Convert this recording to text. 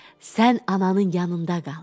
Sən ananın yanında qal.